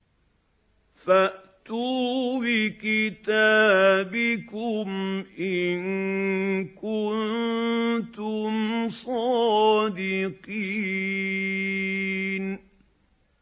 فَأْتُوا بِكِتَابِكُمْ إِن كُنتُمْ صَادِقِينَ